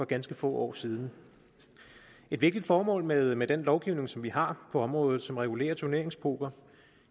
ganske få år siden et vigtigt formål med med den lovgivning som vi har på området og som regulerer turneringspoker